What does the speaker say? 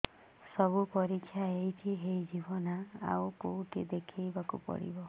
ସବୁ ପରୀକ୍ଷା ଏଇଠି ହେଇଯିବ ନା ଆଉ କଉଠି ଦେଖେଇ ବାକୁ ପଡ଼ିବ